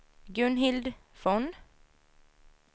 Gunhild Von